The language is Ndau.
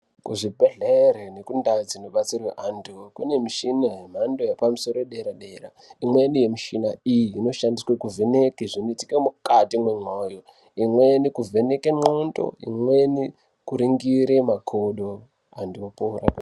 Ku zvibhedhlere neku ndau dzino detserwe antu kune mishina yemhando yepa musoro ye dera dera imweni ye mishina iyi ino shandiswe ku vheneke zvino itika mukati mwe moyo imweni kuvheneke ndxondo imweni kuringire makodo antu opora.